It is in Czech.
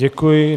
Děkuji.